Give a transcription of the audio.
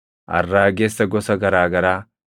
arraagessa gosa garaa garaa,